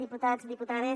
diputats diputades